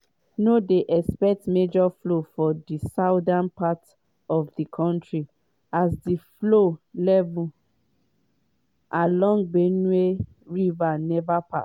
no dey expect major flood for di southern part of di kontri as di flow levels along benue river neva pass